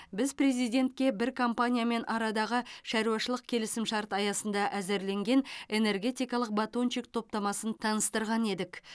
біз президентке бір компаниямен арадағы шаруашылық келісімшарт аясында әзірленген энергетикалық батончик топтамасын таныстырған едік